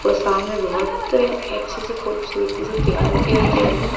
और सामने बहुत अच्छे से खूबसूरती से तैयार किए गए हैं।